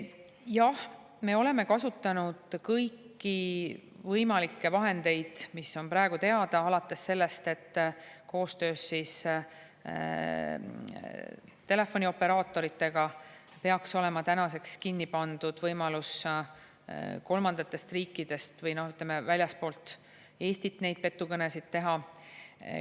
Jah, me oleme kasutanud kõiki võimalikke vahendeid, mis on praegu teada, alates sellest, et koostöös telefonioperaatoritega peaks olema tänaseks kinni pandud võimalus kolmandatest riikidest või väljastpoolt Eestit petukõnesid teha.